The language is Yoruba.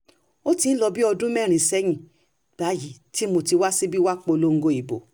ó ti ń lọ bíi ọdún mẹ́rin sẹ́yìn báyìí tí mo ti wá síbí wàá polongo ìbò